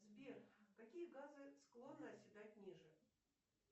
сбер какие газы склонны оседать ниже